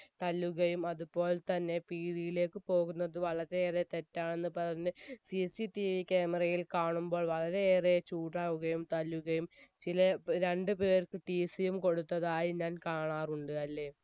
തല്ലുകയും അത്പോൽതന്നെ പീടീലേക്ക് പോകുന്നത് വളരെ ഏറെ തെറ്റാണെന്ന് പറഞ് cctvcamera യിൽ കാണുമ്പോൾ വളരെ ഏറെ ചൂടാവുകയും തല്ലുകയും ചില രണ്ട് പേർക്ക് tc യും കൊടുത്തതായി ഞാൻ കാണാറുണ്ട് അല്ലെ